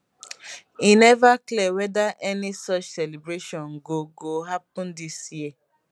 e neva clear weda any such celebration go go happen dis year